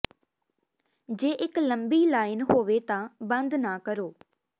ਜੇ ਇਕ ਲੰਮੀ ਲਾਈਨ ਹੋਵੇ ਤਾਂ ਬੰਦ ਨਾ ਕਰੋ